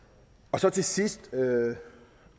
så til sidst